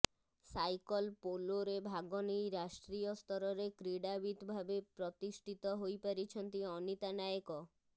cycle ପୋଲୋରେ ଭାଗ ନେଇ ରାଷ୍ଟ୍ରୀୟ ସ୍ତରରେ କ୍ରୀଡାବିତ୍ ଭାବେ ପ୍ରତିଷ୍ଠିତ ହୋଇପାରିଛନ୍ତି ଅନିତା ନାଏକ